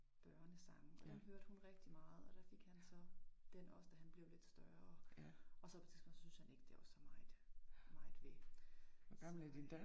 Børnesange og den hørte hun rigtig meget og der fik han så den også, da han blev lidt større og så på et tidspunkt så syntes han så det var ikke så meget meget ved så øh